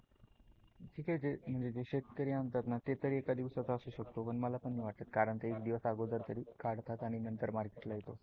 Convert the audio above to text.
ठीक आहे जे शेतकरी आणतात ना ते तर एका दिवसाच असू शकतो पण मला पण नाही वाटत कारण ते एक दिवस अगोदर तरी काढतात आणि नंतर मार्केट ला येतो.